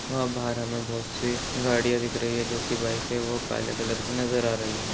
वहाँ बाहर हमें बहुत- सी गाड़ियां दिख रही है जोकि बाइक है वह काले कलर की नजर आ रही है।